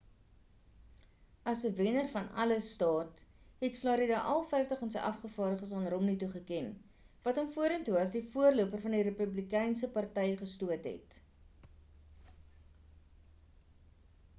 as 'n wenner-van-alles staat het florida al vyftig van sy afgevaardiges aan romney toegeken wat hom vorentoe as die voorloper van die republikeinse party gestoot het